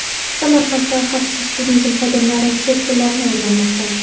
Samarqandda xavfsiz turizm xodimlari chet tillarni o‘rganmoqda.